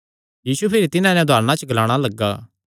यीशु भिरी तिन्हां नैं उदारणा च ग्लाणा लग्गा